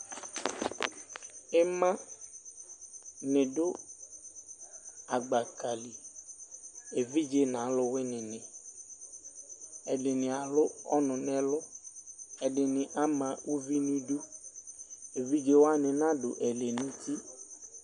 Ima ni dʋ agbaka liEvidze naluwini niƐdini alʋ ɔnu nɛluƐdini ama uvi niduEvidze wani nadu ɛlɛnuti